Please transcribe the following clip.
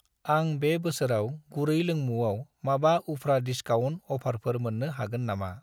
आं बे बोसोराव गुरै लोंमुंआव माबा उफ्रा डिसकाउन्ट अफारफोर मोन्नो हागोन नामा?